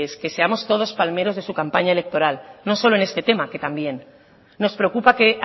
que todos seamos palmeros de su campaña electoral no solo en este tema que también nos preocupa que